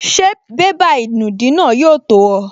Ṣé bébà ìnùdí náà yóò tó ọ?